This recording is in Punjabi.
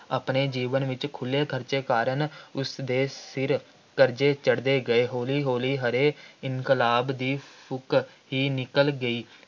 ਆਪਣੇ ਜੀਵਨ ਵਿੱਚ ਖੁੱਲ੍ਹੇ ਖ਼ਰਚੇ ਕਾਰਨ ਉਸ ਦੇ ਸਿਰ ਕਰਜ਼ੇ ਚੜ੍ਹਦੇ ਗਏ । ਹੌਲੀ ਹੌਲੀ ਹਰੇ ਇਨਕਲਾਬ ਦੀ ਫੂਕ ਹੀ ਨਿਕਲ ਗਈ।